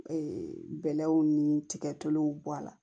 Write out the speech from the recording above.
bɛlɛw ni tigɛtuluw bɔ a la